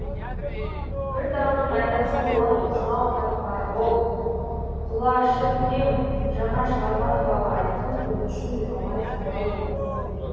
бір дәуірдің айнасы болған осынау қатпары мол құлашы кең жаңа шығарма туралы айту біз үшін де оңай шаруа емес